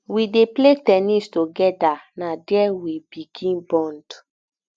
we dey play ten nis togeda na there we begin bond